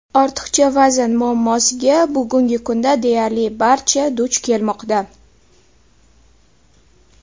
Ortiqcha vazn muammosiga bugungi kunda deyarli barcha duch kelmoqda.